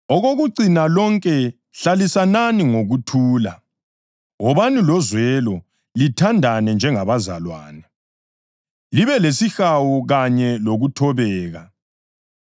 Okokucina lonke hlalisanani ngokuthula; wobani lozwelo, lithandane njengabazalwane, libe lesihawu kanye lokuthobeka.